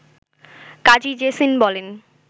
কাজী জেসিন বলেন